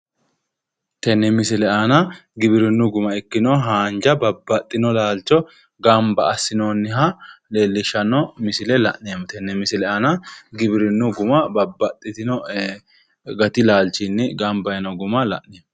Tenne misile aana giwirinnu guma babbaxxino gati laalchinni gamba yino guma la'neemmo